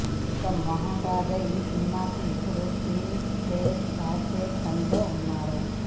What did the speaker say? ఇక మోహన్ రాజా ఈ సినిమాకి ఇప్పుడు స్క్రీన్ ప్లే రాసే పనిలో ఉన్నారు